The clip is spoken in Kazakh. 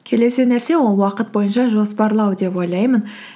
келесі нәрсе ол уақыт бойынша жоспарлау деп ойлаймын